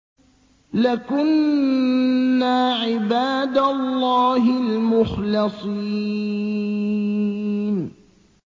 لَكُنَّا عِبَادَ اللَّهِ الْمُخْلَصِينَ